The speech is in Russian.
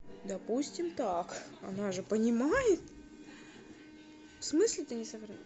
допустим так она же понимает в смысле ты не